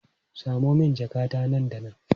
Samo min jakata nan da nan!